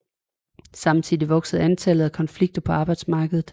Samtidig voksede antallet af konflikter på arbejdsmarkedet